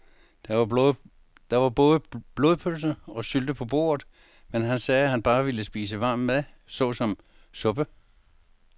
Der var både blodpølse og sylte på bordet, men han sagde, at han bare ville spise varm mad såsom suppe.